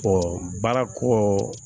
baara ko